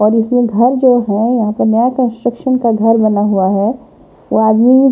और इसमें घर जो है यहाँ पर नया कंस्ट्रक्शन का घर बना हुआ है वो आदमी --